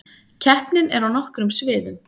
Keppnin er á nokkrum sviðum